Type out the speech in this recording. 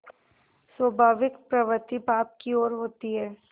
स्वाभाविक प्रवृत्ति पाप की ओर होती है